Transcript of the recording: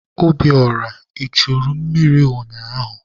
Obiora, I churu mmiri ụnyaahụ?